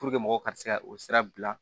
mɔgɔw ka se ka o sira bila